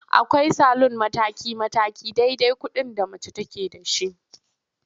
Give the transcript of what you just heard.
Akwai salun mataki-mataki dai-dai kuɗin da mace take da shi.